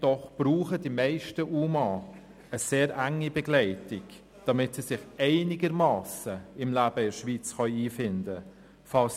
Doch die meisten UMA brauchen eine sehr enge Begleitung, damit sie sich einigermassen im Leben in der Schweiz einfinden können.